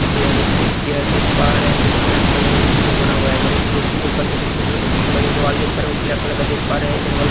पीछे हम लोग एक चेयर देख पा रहे हैं जो कि ब्लैक कलर का स्टील से बना हुआ है हम लोग बेसिन देख पा रहे हैं जो कि ब्लू कलर का पीछे का जो दीवार देख पा रहे हैं वो ब्लैक कलर का देख पा रहे हैं इधर वाला --